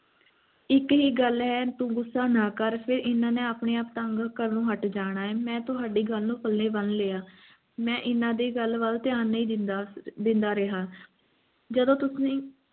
ਇਕ ਹੀ ਗਲ ਹੈ ਤੂੰ ਗੁਸਾ ਨਾ ਕਰ ਫੇਰ ਇਨ੍ਹਾਂ ਨੇ ਆਪਣੇ ਆਪ ਤੰਗ ਕਰਨੋਂ ਹਟ ਜਾਣਾ ਹੈ ਮੈ ਤੁਹਾਡੀ ਗੱਲ ਨੂੰ ਪੱਲੇ ਬੰਨ੍ਹ ਲਿਆ ਮੈਂ ਇਨ੍ਹਾਂ ਦੀ ਗੱਲ ਵੱਲ ਧਿਆਨ ਨਹੀਂ ਦਿੰਦਾਦਿੰਦਾ ਰਿਹਾ